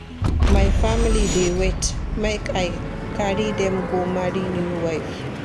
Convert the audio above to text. My family dey wait make I carry dem go marry new wife.